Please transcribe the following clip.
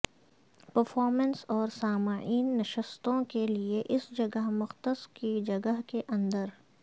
performance اور سامعین نشستوں کے لئے اس جگہ مختص کی جگہ کے اندر